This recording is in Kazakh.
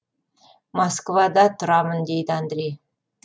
москвада тұрамын деді андрей